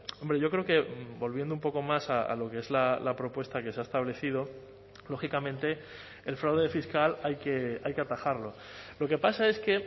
hombre yo creo que volviendo un poco más a lo que es la propuesta que se ha establecido lógicamente el fraude fiscal hay que hay que atajarlo lo que pasa es que